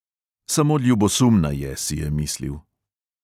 Samo ljubosumna je, si je mislil.